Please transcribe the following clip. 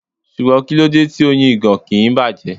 Ṣùgbọ́n kíló de tí Oyin ìgàn kì ń bàjẹ́?